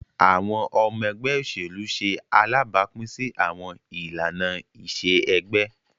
Awọn ọmọ ẹgbẹ oselu ṣe alabapin si awọn ilana-iṣe ẹgbẹ.